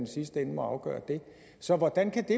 sidste ende må afgøre det så hvordan kan det